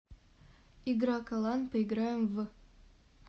игра калан поиграем в